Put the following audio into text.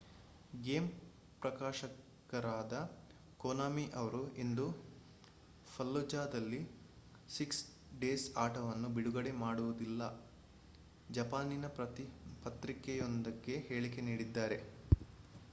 game ಪ್ರಕಾಶಕರಾದ Konami ಅವರು ಇಂದು ಫಲ್ಲುಜಾದಲ್ಲಿ ಸಿಕ್ಸ್ ಡೇಸ್ ಆಟವನ್ನು ಬಿಡುಗಡೆ ಮಾಡುವುದಿಲ್ಲ ಜಪಾನಿನ ಪತ್ರಿಕೆಯೊಂದಕ್ಕೆ ಹೇಳಿಕೆ ನೀಡಿದ್ದಾರೆ